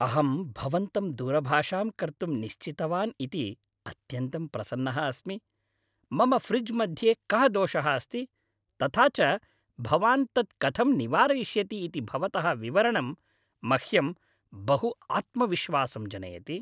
अहं भवन्तं दूरभाषां कर्तुं निश्चितवान् इति अत्यन्तं प्रसन्नः अस्मि, मम फ्रिज् मध्ये कः दोषः अस्ति, तथा च भवान् तत् कथं निवारयिष्यति इति भवतः विवरणं मह्यं बहु आत्मविश्वासं जनयति।